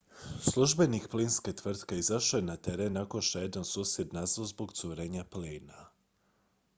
službenik plinske tvrtke izašao je na teren nakon što je jedan susjed nazvao zbog curenja plina